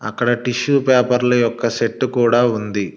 అక్కడ టిష్యూ పేపర్ల యొక్క సెట్టు కూడా ఉంది.